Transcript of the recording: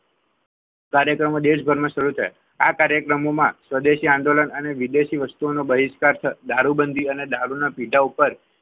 કાર્યક્રમ દેશભરમાં શરૂ થયા આ કાર્યક્રમમાં સ્વદેશી આંદોલન અને વિદેશી વસ્તુઓનો બહિષ્કાર દારૂબંધી અને દારૂના પેટા ઉપર